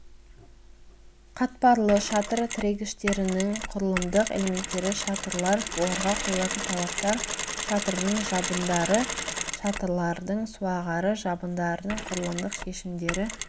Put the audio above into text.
қатпарлы шатыр тірегіштерінің құрылымдық элементтері шатырлар оларға қойылатын талаптар шатырдың жабындары шатырлардың суағары жабындардың құрылымдық шешімдері